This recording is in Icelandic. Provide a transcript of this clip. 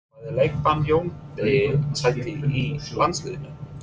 Færði leikbann Jóni Degi sæti í landsliðinu?